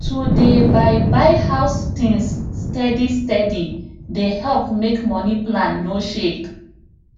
to dey buy buy house things steady steady dey help make money plan no shake